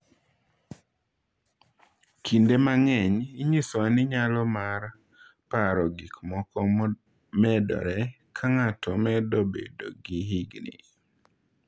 Kinde mang’eny, inyisowa ni nyalo mar paro gik moko medore ka ng’ato medo bedo gi higni.